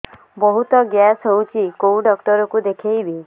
ବହୁତ ଗ୍ୟାସ ହଉଛି କୋଉ ଡକ୍ଟର କୁ ଦେଖେଇବି